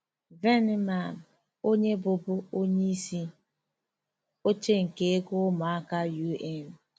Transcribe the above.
VENEMAN, Onye bụbu onye isi oche nke ego ụmụaka UN.